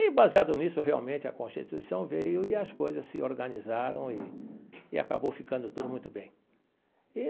E, baseado nisso, realmente a Constituição veio e as coisas se organizaram e e acabou ficando tudo muito bem e.